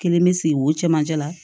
Kelen bɛ sigi o cɛmancɛ la